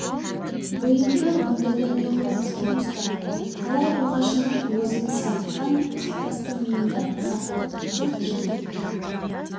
бойыңды мұндайда неғұрлым салқын ұста талай ұрғашының уызын сарыққан қақпастың миында сақтық жылт-жылт етті